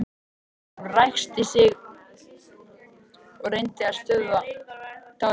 Hún ræskti sig og reyndi að stöðva tárin.